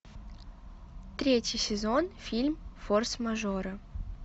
третий сезон фильм форс мажоры